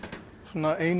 eina